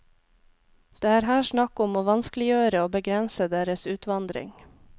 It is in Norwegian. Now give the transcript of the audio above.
Det er her snakk om å vanskeliggjøre og begrense deres utvandring.